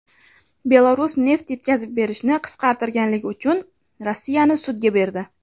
Belarus neft yetkazib berishni qisqartirganligi uchun Rossiyani sudga berdi.